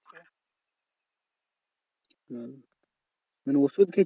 হ্যাঁ মানে ওষুধ খেয়ে